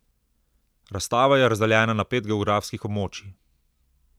Razstava je razdeljena na pet geografskih območij.